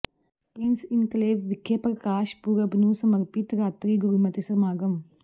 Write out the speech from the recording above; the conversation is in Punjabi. ਪਿ੍ੰਸ ਇਨਕਲੇਵ ਵਿਖੇ ਪ੍ਰਕਾਸ਼ ਪੁਰਬ ਨੂੰ ਸਮਰਪਿਤ ਰਾਤਰੀ ਗੁਰਮਤਿ ਸਮਾਗਮ